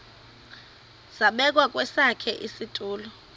zabekwa kwesakhe isitulo